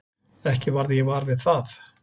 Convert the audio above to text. Ekki varð ég var við það.